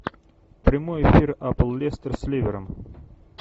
прямой эфир апл лестер с ливером